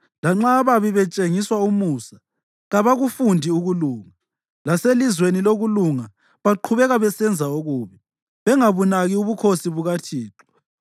Lanxa ababi betshengiswa umusa, kabakufundi ukulunga; laselizweni lokulunga baqhubeka besenza okubi, bengabunaki ubukhosi bukaThixo.